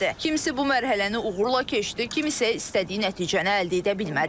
Kimisi bu mərhələni uğurla keçdi, kimisi isə istədiyi nəticəni əldə edə bilmədi.